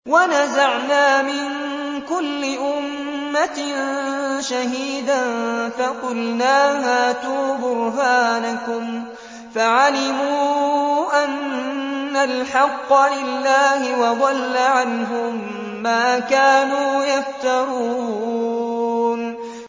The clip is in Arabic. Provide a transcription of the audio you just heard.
وَنَزَعْنَا مِن كُلِّ أُمَّةٍ شَهِيدًا فَقُلْنَا هَاتُوا بُرْهَانَكُمْ فَعَلِمُوا أَنَّ الْحَقَّ لِلَّهِ وَضَلَّ عَنْهُم مَّا كَانُوا يَفْتَرُونَ